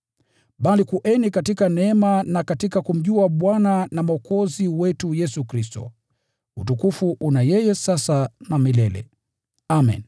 Bali kueni katika neema na katika kumjua Bwana na Mwokozi wetu Yesu Kristo. Utukufu una yeye sasa na milele! Amen.